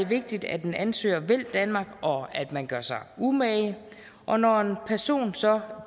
vigtigt at en ansøger vil danmark og at man gør sig umage og når en person så